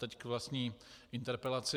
Teď k vlastní interpelaci.